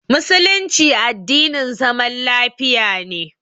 Musulunci addinin zaman lafiya ne.